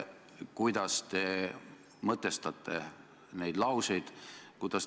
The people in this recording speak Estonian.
Kuidas te mõtestate neid lauseid?